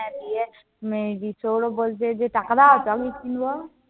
হ্যাঁ দিয়ে, সৌরভ বলছে যে টাকা দাও, কিনব।